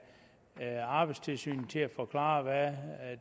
arbejdstilsynet til at forklare hvad